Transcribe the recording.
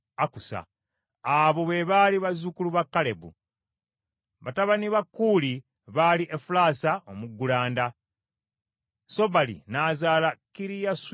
Abo be baali bazzukulu ba Kalebu. Batabani ba Kuuli baali Efulaasa omuggulanda, Sobali n’azaala Kiriyasuyalimu,